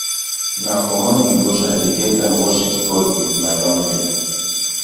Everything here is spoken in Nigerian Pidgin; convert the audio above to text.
na for morning devotion i dey get time worship god wit my family